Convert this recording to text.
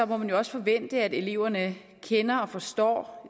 må man jo også forvente at eleverne kender og forstår